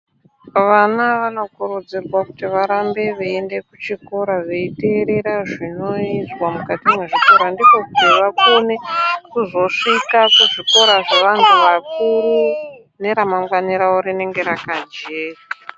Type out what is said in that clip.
Vana nanokurudzurwa kuti varambe veienda kuchikora, varambe veiterera zvinoizwa mukati mwezvikora. Ndikonkuti vakone kuzosvika kuzvikora zveanthu akuru, neramangwani rawo rinenge rakajeka.